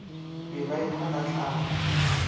be ba ehlwa ka tlala